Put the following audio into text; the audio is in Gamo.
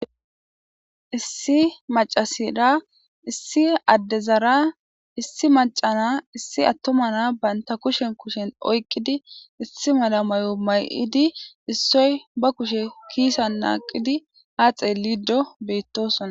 issi macasida issi addezaara issi macana issi attomana baynta kushen kushen oyqqidi issi mala mayo may7idi issoy ba kushe kiisa naaqidi haaxe liido beyttosona